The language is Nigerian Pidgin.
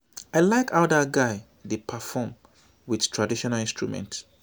i like how dat guy dey perform with traditional instruments